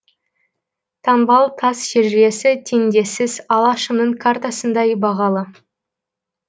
таңбалы тас шежіресі теңдессіз алашымның картасындай бағалы